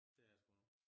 Det er der sgu